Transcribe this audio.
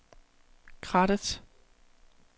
Krattet